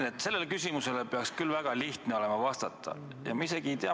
Martin, sellele küsimusele peaks küll olema väga lihtne vastata.